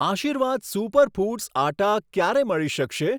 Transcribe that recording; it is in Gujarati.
આશીર્વાદ સુપર ફૂડ્સ આટ્ટા ક્યારે મળી શકશે?